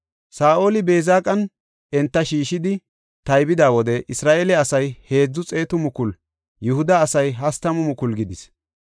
Saa7oli Beezeqan enta shiishidi taybida wode Isra7eele asay heedzu xeetu mukulu; Yihuda asay hastamu mukulu gidis.